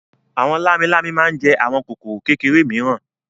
Àwọn lámilámi máa ń jẹ àwọn kòkòrò kékeré mìíràn.